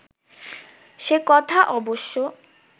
সে কথা অবশ্য